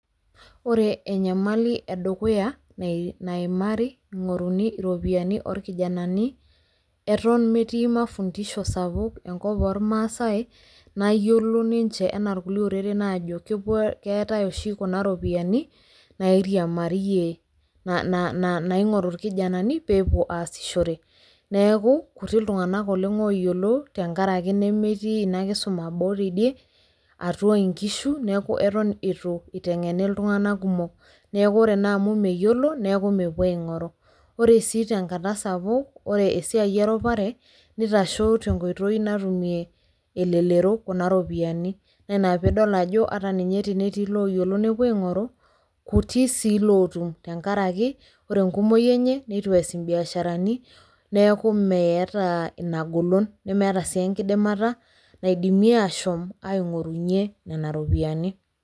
ore enyamali edukuya naimari eing'oruni iropiyiani oorkijanani, eton metii mafundisho sapuk enkop oormaasae, nayiolo ninche anaa irkulie ooreren aajo keetae oshi kuna ropiyiani nairiamariyie, na na naing'oru irkijanani pee epuo aasishore, neeku kutik iltunganak oleng ooyiolo. tenkaraki nemetii ina kisuma boo teidie. atua nkishu. neeku eton eitu itenkgeni iltunganak kumok..neeku ore naa amu meyiolo neeku mepuo aing'oru. ore sii tenakata sapuk ore esiai erupare, neitashe tenkoitoi natumie, elelero kuna ropiyiani naa ina pee idol ajo ata ninye tenetii ilooyiolo nepuo aing'oru. kuti sii ilootum tenkaraki ore enkumoi enye, neitu ees ibiasharani, neeku meeta ina golon nemeeta siii enkidimata naidimie ashom aing'oru nena ropiyiani.